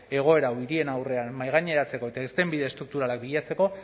egoera handien aurrean mahaigaineratzeko eta irtenbide estrukturalak bilatzeko